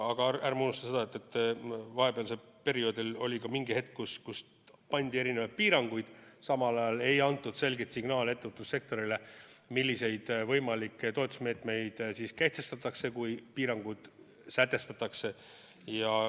Aga ärme unusta, et vahepealsel perioodil oli mingi hetk, kui seati erinevaid piiranguid, ent samal ajal ei antud selget signaali ettevõtlussektorile, milliseid võimalikke toetusmeetmeid kehtestatakse, kui piirangud sätestatakse.